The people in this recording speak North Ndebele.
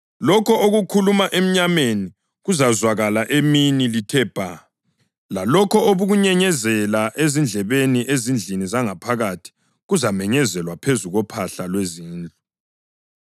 Lokho okukhulume emnyameni kuzazwakala emini lithe bha, lalokho obukunyenyezela endlebeni ezindlini zangaphakathi kuzamenyezelwa phezu kophahla lwezindlu.